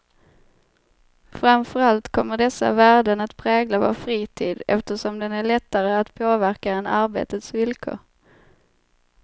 Framför allt kommer dessa värden att prägla vår fritid, eftersom den är lättare att påverka än arbetets villkor.